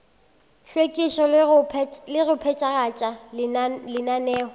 hlwekišo le go phethagatša lenaneo